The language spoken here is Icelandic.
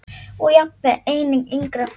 Og jafnvel einnig yngra fólki.